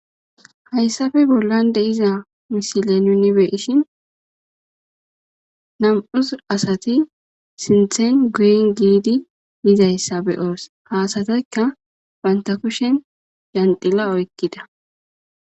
Haysafe bollan de'iza misiley nu be'ishen nam'u asati sinthen guyen gidi yizaysa be'os ha asatikka banta kushen yaxila oykida